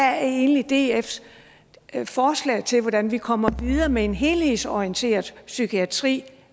er egentlig dfs forslag til hvordan vi kommer videre med en helhedsorienteret psykiatri